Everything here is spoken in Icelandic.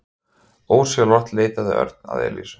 Ósjálfrátt leitaði Örn að Elísu.